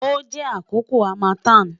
o jẹ akoko harmattan